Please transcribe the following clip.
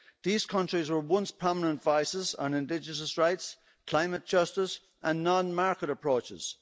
These countries were once prominent advisors on indigenous rights, climate justice, and non market approaches.